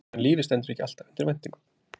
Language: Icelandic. En lífið stendur ekki alltaf undir væntingum.